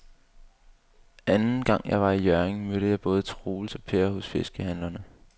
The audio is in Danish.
Anden gang jeg var i Hjørring, mødte jeg både Troels og Per hos fiskehandlerne.